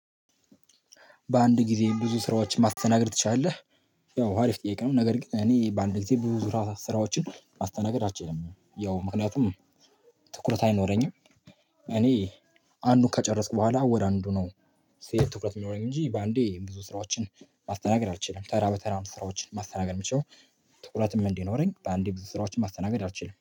"በአንድ ጊዜ ብዙ ስራዎችን ማስተናገድ ትችላለህ?" ያው አሪፍ ጥያቄ ነው፤ ነገር ግን እኔ በአንድ ጊዜ ብዙ ስራዎችን ማስተናገድ አልችልም። ያው ምክንያቱም ትኩረት አይኖረኝም እኔ፣ አንዱን ከጨረስኩ በኋላ፣ ወደ አንዱ ነው ስሄድ ትኩረት የሚኖረኝ እንጂ፣ በአንዴ ብዙ ስራዎችን ማስተናገድ አልችልም። ተራ በተራ ነው ስራዎችን ማስተናገድ የምችለው። ትኩረትም እንዲኖረኝ በአንዴ ስራዎችን ማስተናገድ አልችልም።